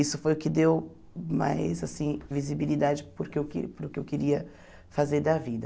Isso foi o que deu mais assim visibilidade para o que eu que para o que eu queria fazer da vida.